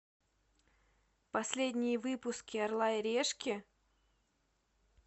последние выпуски орла и решки